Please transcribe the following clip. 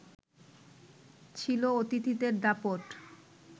ছিল অতিথিদের দাপট